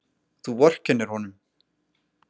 Þú vorkennir honum.